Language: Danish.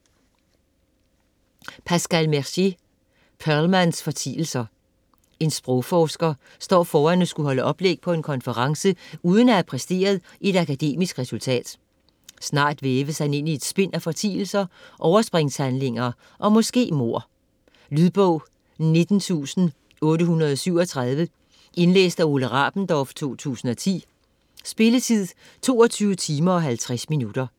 Mercier, Pascal: Perlmanns fortielser En sprogforsker står foran at skulle holde oplæg på en konference uden at have præsteret et akademisk resultat. Snart væves han ind i et spind af fortielser, overspringshandlinger og måske mord. Lydbog 19837 Indlæst af Ole Rabendorf, 2010. Spilletid: 22 timer, 50 minutter.